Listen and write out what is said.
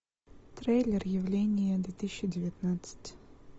трейлер явление две тысячи девятнадцать